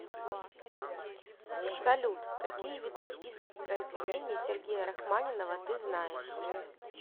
салют какие виды список произведений сергея рахманинова ты знаешь